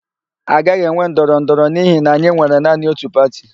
A gaghị enwe ndọrọndọrọ n'ihi na anyị nwere naanị ótù pati.